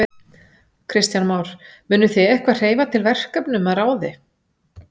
Kristján Már: Munuð þið eitthvað hreyfa til verkefnum að ráði?